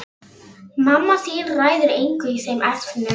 Mamma þín ræður engu í þeim efnum.